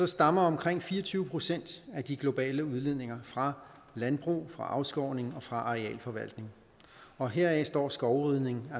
stammer omkring fire og tyve procent af de globale udledninger fra landbrug fra afskovning og fra arealforvaltning og heraf står skovrydning